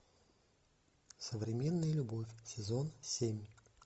современная любовь сезон семь